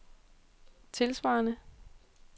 tilsvarende